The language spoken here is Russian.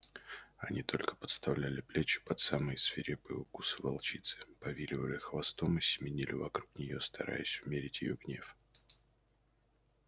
они только подставляли плечи под самые свирепые укусы волчицы повиливали хвостом и семенили вокруг неё стараясь умерить её гнев